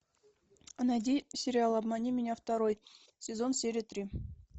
найди сериал обмани меня второй сезон серия три